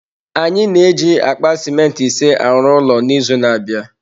Anyị na-eji akpa simenti ise arụ ụlọ n’izu na-abịa